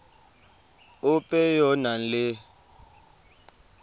ope yo o nang le